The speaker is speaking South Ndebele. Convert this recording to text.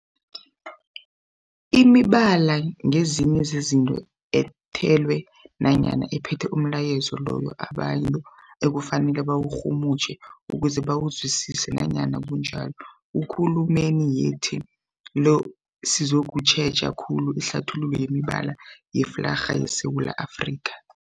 Imibala ngezinye zezinto ethelwe nanyana ephethe umlayezo loyo abantu ekufanele bawurhumutjhe ukuze bawuzwisise. Nanyana kunjalo, ekulumeni yethu le sizokutjheja khulu ihlathululo yemibala yeflarha yeSewula Afrika.